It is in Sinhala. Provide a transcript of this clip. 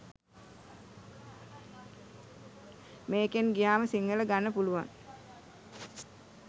මේකෙන් ගියාම සිංහල ගන්න පුළුවන්